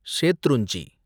Shetrunji